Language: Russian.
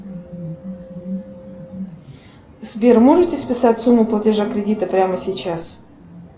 сбер можете списать сумму платежа кредита прямо сейчас